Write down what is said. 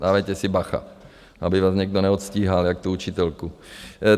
Dávejte si bacha, aby vás někdo neodstíhal, jako tu učitelku.